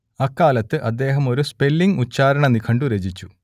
അക്കാലത്ത് അദ്ദേഹം ഒരു സ്പെല്ലിങ്ങ് ഉച്ചാരണ നിഘണ്ടു രചിച്ചു